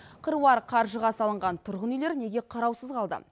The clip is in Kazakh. қыруар қаржыға салынған тұрғын үйлер неге қараусыз қалды